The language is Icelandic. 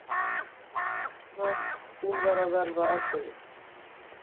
Hann leit á klukkuna, hún var að verða ellefu.